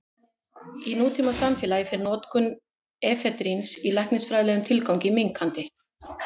Í nútímasamfélagi fer notkun efedríns í læknisfræðilegum tilgangi minnkandi.